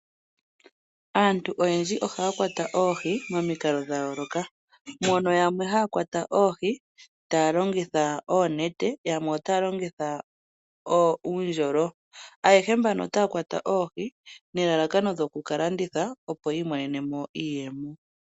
Aantu oyendji ohaya kwata oohi momikalo dhayooloka, mono yamwe haya kwata oohi taya longitha oonete yamwe otaya longitha uundjolo. Ayehe mbano otaya kwata oohi nelalakano lyoku kalanditha opo yiimonene mo iiyemo.